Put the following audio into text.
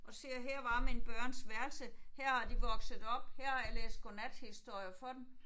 Og siger her var mine børns værelse her har de vokset op her har jeg læst godnathistorier for dem